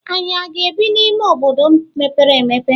Ànyị aga-ebi n'ime obodo mepere emepe?